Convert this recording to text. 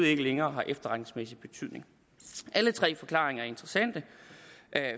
ikke længere har efterretningsmæssig betydning alle tre forklaringer er interessante